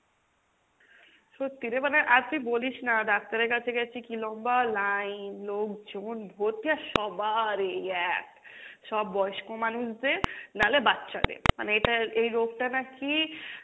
সত্যি রে মানে আর তুই বলিস না ডাক্তারের কাছে গেছি কী লম্বা line, লোকজন ভরতি আর সবার এই এক, সব বয়স্ক মানুষদের নালে বাচ্চাদের মানে এটা এই রোগটা নাকি,